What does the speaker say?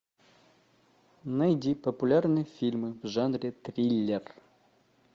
найди популярные фильмы в жанре триллер